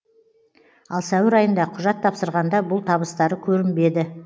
ал сәуір айында құжат тапсырғанда бұл табыстары көрінбеді